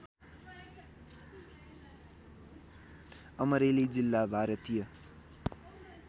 अमरेली जिल्ला भारतीय